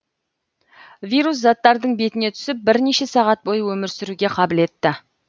вирус заттардың бетіне түсіп бірнеше сағат бойы өмір сүруге қабілетті